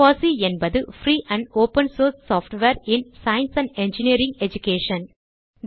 FOSSEE என்பது free and open source software இன் science and engineering education